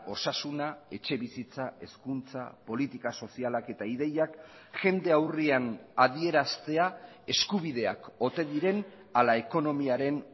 osasuna etxebizitza hezkuntza politika sozialak eta ideiak jende aurrean adieraztea eskubideak ote diren ala ekonomiaren